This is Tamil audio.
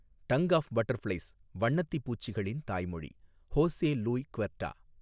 டங் ஆஃப் பட்டர்ஃப்ளைஸ் வண்ணத்திப்பூச்சிகளின் தாய்மொழி, ஹோசே லூய் க்வெர்டா.